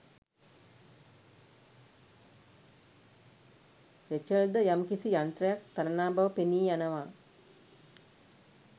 රේචල්ද යම් කිසි යන්ත්‍රයක් තනනා බව පෙනී යනවා